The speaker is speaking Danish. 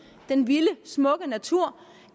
den vilde smukke natur